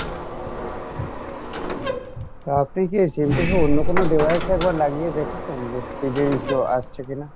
তা আপনি কী sim টা কী অন্য কোনো device এ একবার লাগিয়ে দেখেছেন যে speed এর issue আসছে কিনা?